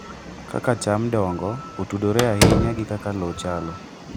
Kaka cham dongo otudore ahinya gi kaka lowo chalo.